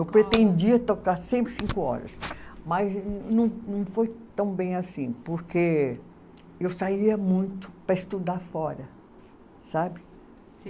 Eu pretendia tocar sempre cinco horas, mas não não foi tão bem assim, porque eu saía muito para estudar fora, sabe?